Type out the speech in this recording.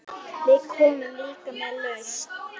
Við komum líka með lausn.